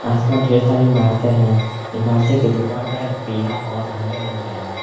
आसपास ढेर सारी इमारते हैं इमारतें के दीवार का रंग पीला और हरे रंग का है।